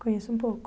Conheço um pouco.